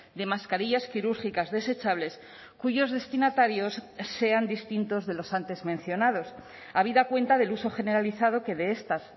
de mascarillas quirúrgicas desechables cuyos destinatarios sean distintos de los antes mencionados habida cuenta del uso generalizado que de estas